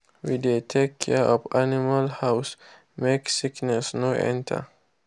we dey take care of animal house make sickness no enter.